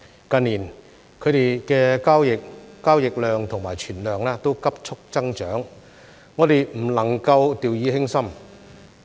近年它們的交易量和存量急速增長，我們不能夠掉以輕心。